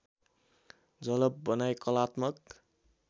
जलप बनाई कलात्मक